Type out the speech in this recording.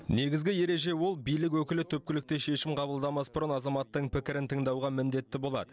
негізгі ереже ол билік өкілі түпкілікті шешім қабылдамас бұрын азаматтың пікірін тыңдауға міндетті болады